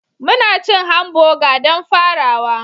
Muna cin hamburger don farawa